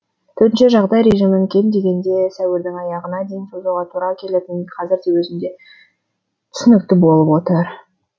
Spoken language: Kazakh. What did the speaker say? төтенше жағдай режимін кем дегенде сәуірдің аяғына дейін созуға тура келетіні қазірдің өзінде түсінікті болып отыр